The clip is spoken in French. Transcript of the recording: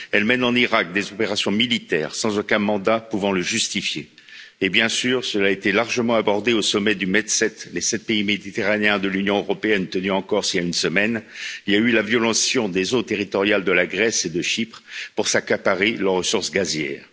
Elle mène en Irak des opérations militaires sans aucun mandat pouvant le justifier et, bien sûr cela a été largement abordé au sommet du Med7, qui réunit les sept pays méditerranéens de l'Union européenne, tenu en Corse il y a une semaine il y a eu la violation des eaux territoriales de la Grèce et de Chypre pour s'accaparer leurs ressources gazières.